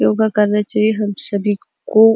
योगा करना चाहिए हम सभी को--